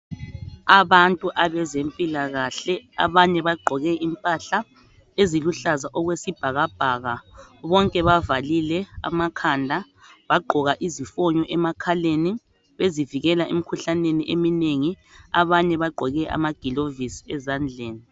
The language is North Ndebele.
Abantu abezempilakahle, abanye bagqoke impahla eziluhlaza okwesibhakabhaka, bonke bavalile amakhanda, bagqoka izifonyo emakhaleni bezivikela emikhuhlaneni eminengi, abanye bagqoke amagilovisi ezandleni.